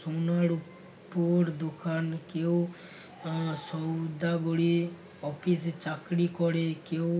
শূন্যের উপর দোকান কেউ আহ সওদাগরী office এ চাকরি করে কেউ